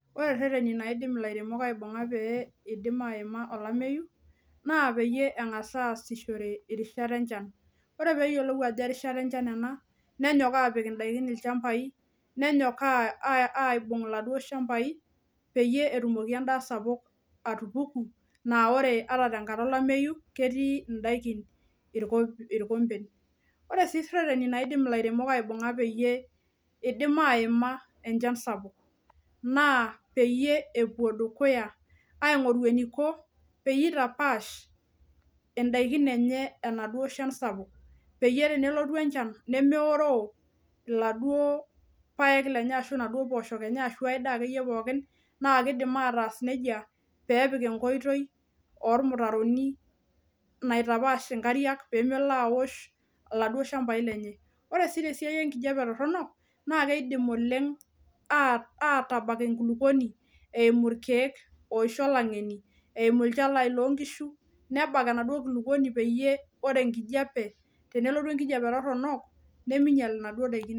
Ore irereni naidim ilairemok aibung pee eim olameyu naa peyie engas aasishore erishata enchan ,ore peyiolou ajo erishata enchan ena , nenyok apik indaiki ilchambai , nenyok aibung iladuo shambai peyie etumoki endaa sapuk atupuka aa ore tenkata olameyu , netii indaiki irkompen .Ore sii ireren naibung ilairemok peyie indim aima enchan sapuk naa peyie epuo dukuya aingoru eniko peyie itapaasha indaikin enye enaduo shan sapuk , peyie tenelotu enchan , nemeoroo ilduo paek lenye ashu inaduo poshok enye wendaa akeyie pookin naa kidim ataas neji peyie epik enkoitoi ormutaroni nitapash nkariak pemelo aosh iladuo shambai lenye . Ore sii etesiai enkulupuoni toronok naa kidim atapal enkulupuoni eimu irkiek loisho langen , eimu ilchalai , nebak enaduo kulukuoni peyie ore enkijape toronok neminyial inaduo daikin.